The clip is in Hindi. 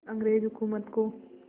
अंग्रेज़ हुकूमत को